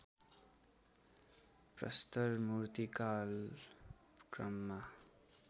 प्रस्तर मूर्तिकाल क्रममा